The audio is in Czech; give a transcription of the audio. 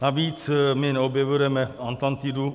Navíc my neobjevujeme Atlantidu.